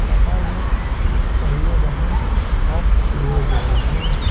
बाहर में दो पहिए वाहन पार्क किए गए हैं।